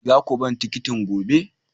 Za ku ba ni tikitin gobe!